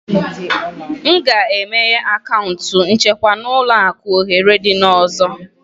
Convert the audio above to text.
M ga-emeghe akaụntụ nchekwa na ụlọ akụ ohere n'izu ọzọ